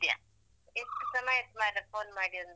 ಎಷ್ಟ್ ಸಮಯ ಆಯ್ತ್ ಮಾರೆ phone ಮಾಡಿ ಒಂದು.